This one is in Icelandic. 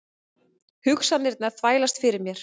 Hugsanirnar þvælast fyrir mér.